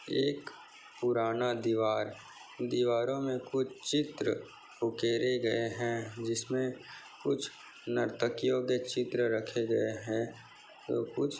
एक पूराना दीवार दीवारों मे कुछ चित्र उगैरे गए है। जिसमे कुछ नर्तकियों के चित्र रखे गए है। और कुछ--